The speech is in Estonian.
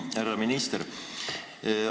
Härra minister!